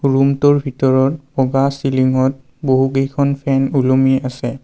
ৰূমটোৰ ভিতৰত বগা চিলিংত বহু কেইখন ফেন ওলমি আছে।